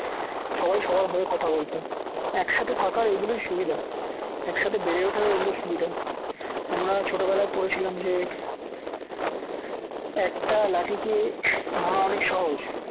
সবাই সবার হয়ে কথা বলতো একসাথে থাকার এগুলোই সুবিধা একসাথে বেড়ে ওঠার এগুলো সুবিধা আমরা ছোটবেলায় পড়েছিলাম যে একটা লাঠিকে ভাঙ্গা অনেক সহজ